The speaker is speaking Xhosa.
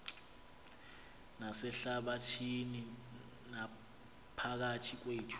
nasehlabathini naphakathi kwethu